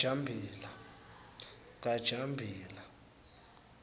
kajambila